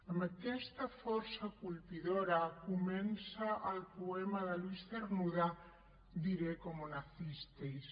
amb aquesta força colpidora comença el poema de luis cernuda diré cómo nacisteis